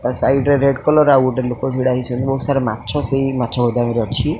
ତା ସାଇଡ୍ ରେ red colour ଆଉ ଗୋଟେ ଲୋକ ଛିଡ଼ା ହେଇଛନ୍ତି ବହୁତ୍ ସାରା ମାଛ ସେଇ ମାଛ ଗୋଦାମରେ ଅଛି।